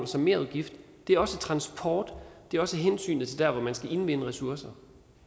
som merudgift det er også transport det er også hensynet til der hvor man skal indvinde ressourcer